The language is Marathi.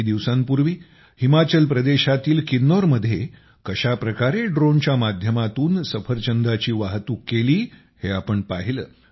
काही दिवसांपूर्वी हिमाचल प्रदेशातील किन्नौरमध्ये कशाप्रकारे ड्रोनच्या माध्यमातून सफरचंदांची वाहतूक केली हे आपण पाहिले